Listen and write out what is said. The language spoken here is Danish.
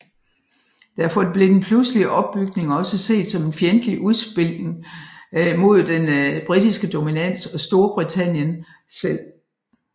Derfor blev den pludselige opbygning også set som en fjendtlig udspilning mod den britiske dominans og Storbritannien selv